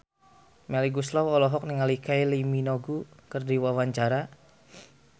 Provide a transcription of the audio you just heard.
Melly Goeslaw olohok ningali Kylie Minogue keur diwawancara